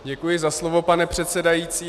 Děkuji za slovo, pane předsedající.